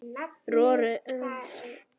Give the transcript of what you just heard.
roðið brann